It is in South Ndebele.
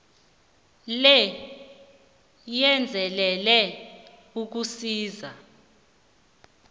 le yenzelelwe ukusiza